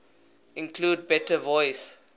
include better voice